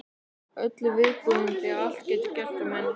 Öllu viðbúin því allt getur gerst meðan ég sef.